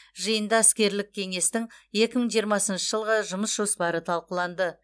жиында іскерлік кеңестің екі мың жиырмасыншы жылғы жұмыс жоспары талқыланды